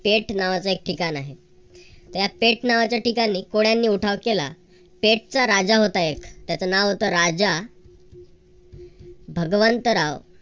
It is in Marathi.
पेट नावाच एक ठिकाण आहे. ह्या पेट नावाच्या ठिकाणी कोळ्यांनी उठाव केला. पेटचा राजा होता एक त्याच नाव होत राजा भगवंतराव